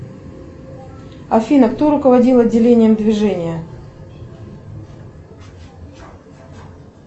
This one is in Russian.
афина кто руководил отделением движения